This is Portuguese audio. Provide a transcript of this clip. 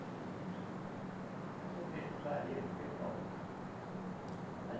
É, então vou deixar, fazer do teu palpite aí. Mas